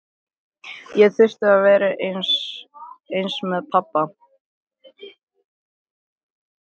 Ég þurfti að vera einn með pabba.